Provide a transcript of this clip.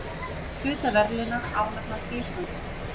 Hluta verðlauna ánafnað til Íslands